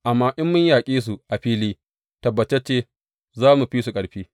Amma in mun yaƙe su a fili, tabbatacce za mu fi su ƙarfi.